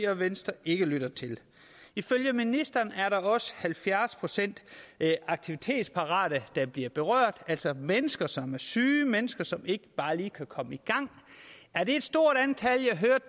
og venstre ikke lytter til ifølge ministeren er der også halvfjerds procent aktivitetsparate der bliver berørt altså mennesker som er syge mennesker som ikke bare lige kan komme i gang er det et stort antal jeg hørte